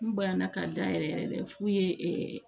N banana ka da yɛrɛ yɛrɛ de f'u ye